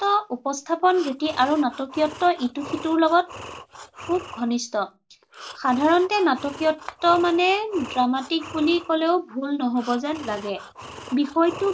উপস্থাপন ৰীতি আৰু নাটকীয়ত্ব ইটো সিটোৰ লগত খুব ঘনিষ্ঠ। সাধাৰণতে নাটকীয়ত্ব মানে dramatic বুলি কলেও ভুল নহব যেন লাগে। বিষয়টো